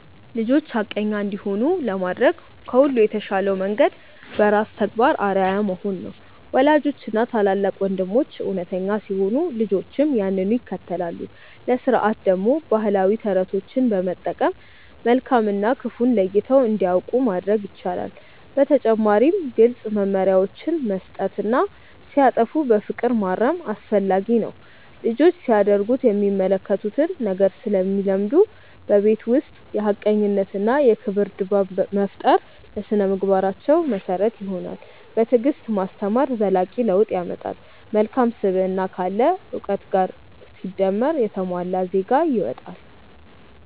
ልጆች ሐቀኛ እንዲሆኑ ለማድረግ ከሁሉ የተሻለው መንገድ በራስ ተግባር አርአያ መሆን ነው። ወላጆችና ታላላቅ ወንድሞች እውነተኛ ሲሆኑ ልጆችም ያንኑ ይከተላሉ። ለሥርዓት ደግሞ ባህላዊ ተረቶችን በመጠቀም መልካም እና ክፉን ለይተው እንዲያውቁ ማድረግ ይቻላል። በተጨማሪም ግልጽ መመሪያዎችን መስጠትና ሲያጠፉ በፍቅር ማረም አስፈላጊ ነው። ልጆች ሲያደርጉት የሚመለከቱትን ነገር ስለሚለምዱ፣ በቤት ውስጥ የሐቀኝነትና የክብር ድባብ መፍጠር ለሥነ-ምግባራቸው መሰረት ይሆናል። በትዕግስት ማስተማር ዘላቂ ለውጥ ያመጣል። መልካም ስብዕና ካለ እውቀት ጋር ሲደመር የተሟላ ዜጋ ይወጣል።